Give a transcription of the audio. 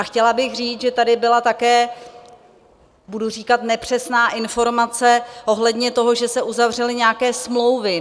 A chtěla bych říct, že tady byla také - budu říkat nepřesná - informace ohledně toho, že se uzavřely nějaké smlouvy.